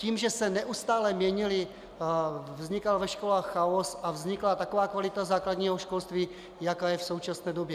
Tím, že se neustále měnily, vznikal ve školách chaos a vznikla taková kvalita základního školství, jaká je v současné době.